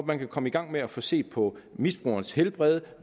man kan komme i gang med at få set på misbrugerens helbred